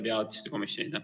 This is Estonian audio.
Priit Sibul, palun!